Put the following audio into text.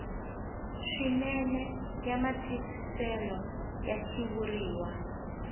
swinene ya matwisiselo ya xitshuriwa